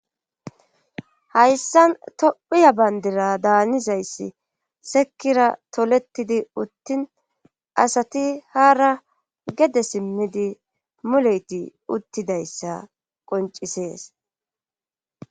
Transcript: hayssan tophiya bandira daanizayssi sekira toletidi uttin asati haara gede simmidi muleyti uttidayssa qoncisees